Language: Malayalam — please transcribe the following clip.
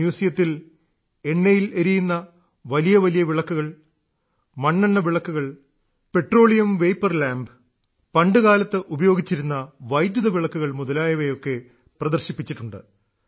മ്യൂസിയത്തിൽ എണ്ണയിൽ എരിയുന്ന വലിയ വലിയ വിളക്കുകൾ മണ്ണെണ്ണ വിളക്കുകൾ പെട്രോളിയം വേപ്പർ ലാമ്പ് പണ്ടുകാലത്ത് ഉപയോഗിച്ചിരുന്ന വൈദ്യുത വിളക്കുകൾ മുതലായവയൊക്കെ പ്രദർശിപ്പിച്ചിട്ടുണ്ട്